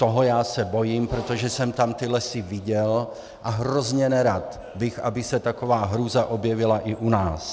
Toho já se bojím, protože jsem tam ty lesy viděl, a hrozně nerad bych, aby se taková hrůza objevila i u nás.